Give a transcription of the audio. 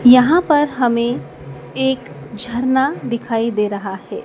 यहां प हमें एक झरना दिखाई दे रहा है।